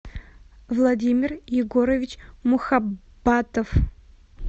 владимир егорович мухаббатов